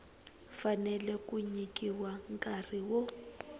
fanele ku nyikiwa nkarhi wo